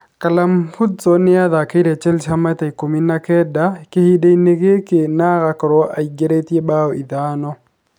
Callum Hudson nĩ athakĩire Chelsea maita ikũmi na kenda kīhinda-inī gīkī na agakorwo aingīrītie mbaū ithano.